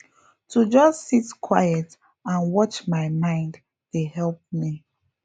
to just sit quiet and watch my mind dey help me